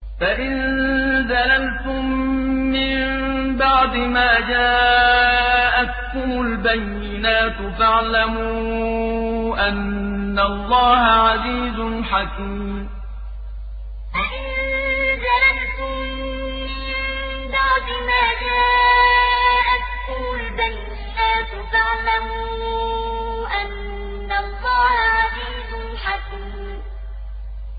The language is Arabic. فَإِن زَلَلْتُم مِّن بَعْدِ مَا جَاءَتْكُمُ الْبَيِّنَاتُ فَاعْلَمُوا أَنَّ اللَّهَ عَزِيزٌ حَكِيمٌ فَإِن زَلَلْتُم مِّن بَعْدِ مَا جَاءَتْكُمُ الْبَيِّنَاتُ فَاعْلَمُوا أَنَّ اللَّهَ عَزِيزٌ حَكِيمٌ